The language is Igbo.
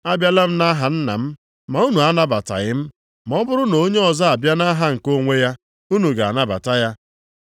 Abịala m nʼaha Nna m ma unu anabataghị m. Ma ọ bụrụ na onye ọzọ abịa nʼaha nke onwe ya, unu ga-anabata ya.